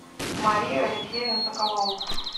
марию алексеевну соколову